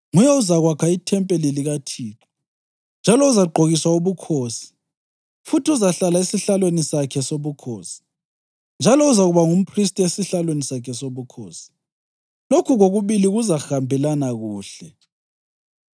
Nguye ozakwakha ithempeli likaThixo, njalo uzagqokiswa ubukhosi, futhi uzahlala esihlalweni sakhe sobukhosi. Njalo uzakuba ngumphristi esihlalweni sakhe sobukhosi. Lokhu kokubili kuzahambelana kuhle.’